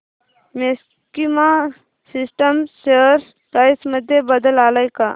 maxima systems share price मध्ये बदल आलाय का